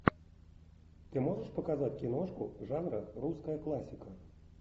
ты можешь показать киношку жанра русская классика